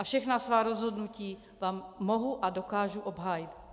A všechna svá rozhodnutí vám mohu a dokážu obhájit.